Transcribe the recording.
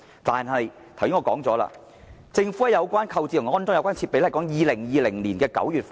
然而，購置和安裝有關設備的工作，要等到2020年9月才完成。